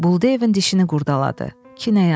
Buldeyevin dişini qurdaladı.